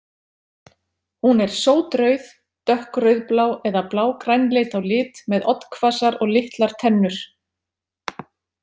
Hún er sótrauð, dökkrauðblá eða blágrænleit á lit með oddhvassar og litlar tennur.